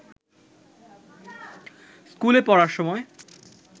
স্কুলে পড়ার সময়